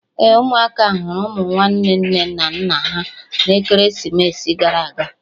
Ee, ụmụaka hụrụ ụmụ nwanne nne na nna ha na ekeresimesi gara aga